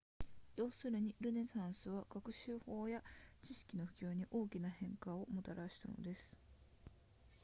要するにルネサンスは学習法や知識の普及に大きな変化をもたらしたのです